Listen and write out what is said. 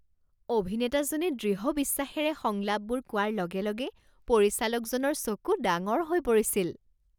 অভিনেতাজনে দৃঢ় বিশ্বাসেৰে সংলাপবোৰ কোৱাৰ লগে লগে পৰিচালকজনৰ চকু ডাঙৰ হৈ পৰিছিল।